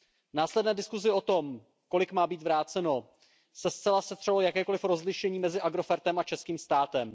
V následné diskusi o tom, kolik má být vráceno, se zcela setřelo jakékoli rozlišení mezi Agrofertem a českým státem.